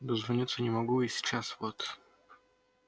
дозвониться не могу и сейчас вот